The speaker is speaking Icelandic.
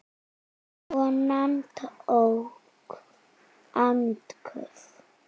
Konan tók andköf.